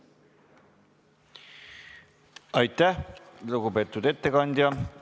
Aitäh, lugupeetud ettekandja!